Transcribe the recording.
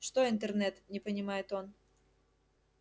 что интернет не понимает он